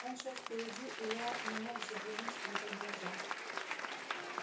он шёл впереди и я не мог заглянуть в его глаза